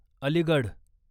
Aligarh